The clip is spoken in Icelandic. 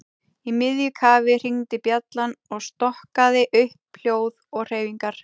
Í miðju kafi hringdi bjallan og stokkaði upp hljóð og hreyfingar.